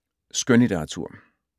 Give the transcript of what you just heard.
Skønlitteratur